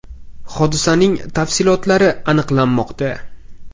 Hodisaning tafsilotlari aniqlanmoqda.